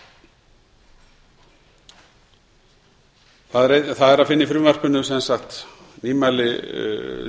frumvarpinu er sem sagt að finna nýmæli er snýr að ársskýrslu um